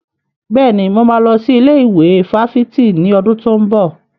Bẹ́ẹ̀ni, mo máa lọ sí ilé ìwé fáfitì ní ọdún tó ń bọ̀.